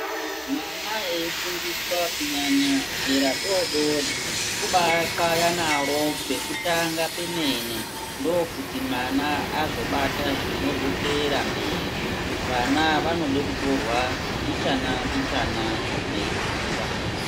Mwana veifundiswa kunyanya zera doodori kubaixaya naro pekutanga pemene nfokuti mwana azobata zvinozoteera mberi vana vanoda kutorwa mbichana mbichana mweikwira.